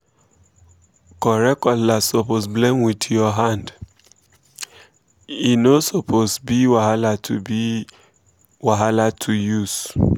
correct cutlass suppose blend with your hand—e um no suppose be wahala to be wahala to um use